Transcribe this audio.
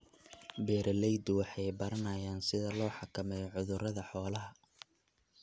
Beeraleydu waxay baranayaan sida loo xakameeyo cudurrada xoolaha.